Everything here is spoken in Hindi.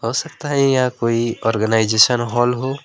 हो सकता है या कोई ऑर्गेनाइजेशन हाल हो।